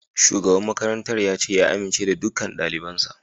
Shugaban makarantar ya ce ya amince da dukkan dalibansa